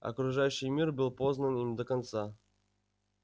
окружающий мир был познан им до конца